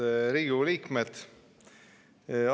Head Riigikogu liikmed!